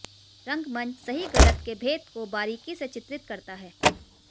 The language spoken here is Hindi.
रंगमंच सही गलत के भेद को बारीकी से चित्रित करता है